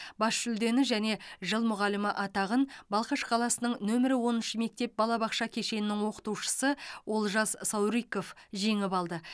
бас жүлдені және жыл мұғалімі атағын балқаш қаласының нөмірі оныншы мектеп балабақша кешенінің оқытушысы олжас сауриков жеңіп алды